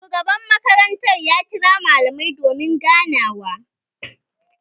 Shugaban makaranta ya kira malamai domin ganawa